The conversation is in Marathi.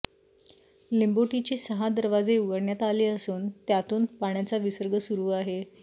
लिंबोटीचे सहा दरवाजे उघडण्यात आले असून त्यातुन पाण्याचा विसर्ग सुरू आहे